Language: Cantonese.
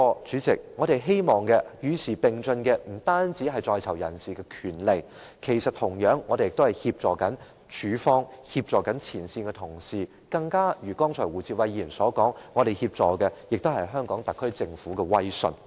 主席，我們希望不單在囚人士的權利會與時並進，同樣地，我們亦希望協助署方和前線同事，正如胡志偉議員剛才所說，我們也想協助香港特區政府保持威信。